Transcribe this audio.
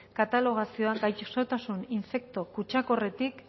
katalogazioan gaixotasun infekto kutsakorretik